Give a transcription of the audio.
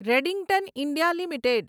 Redington India limited